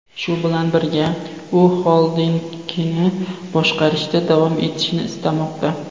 Shu bilan birga, u xoldingini boshqarishda davom etishni istamoqda.